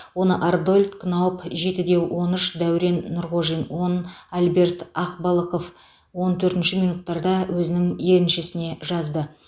оны арнольд кнауб жеті де он үш дәурен нұрғожин он альберт ақбалықов он төртінші минуттарда өзінің еншісіне жазды